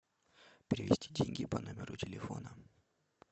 перевести деньги по номеру телефона